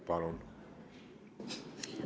Palun!